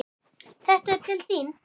Þetta er til þín